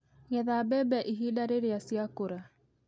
Getha mbembe ihinda rĩrĩa ciakũra.